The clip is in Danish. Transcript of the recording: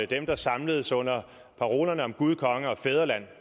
dem der samledes under parolerne om gud konge og fædreland